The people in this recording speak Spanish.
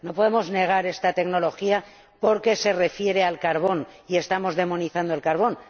No podemos negar esta tecnología porque se refiera al carbón, y estamos demonizando el carbón.